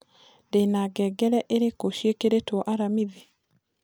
ndĩna ngengere irĩku cĩĩkĩrĩtwo aramĩthĩ